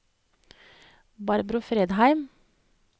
Barbro Fredheim